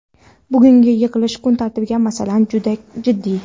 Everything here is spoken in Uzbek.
Bugungi yig‘ilish kun tartibidagi masala juda jiddiy.